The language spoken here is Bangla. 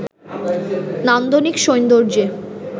নান্দনিক সৌন্দর্যে